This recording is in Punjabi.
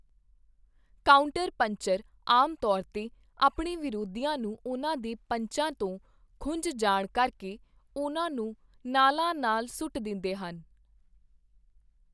ਕਾਊਂਟਰ ਪੰਚਰ ਆਮ ਤੌਰ 'ਤੇ ਆਪਣੇ ਵਿਰੋਧੀਆਂ ਨੂੰ ਉਨ੍ਹਾਂ ਦੇ ਪੰਚਾਂ ਤੋਂ ਖੁੰਝ ਜਾਣ ਕਰਕੇ ਉਨ੍ਹਾਂ ਨੂੰ ਨਾਲਾਂ ਨਾਲ ਸੁੱਟ ਦਿੰਦੇ ਹਨ।